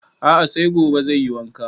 A'a sai gobe zai yi wanka